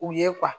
U ye